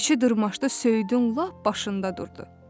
Keçi dırmaşdı söyüdün lap başında durdu.